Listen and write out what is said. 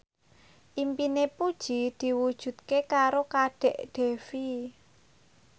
impine Puji diwujudke karo Kadek Devi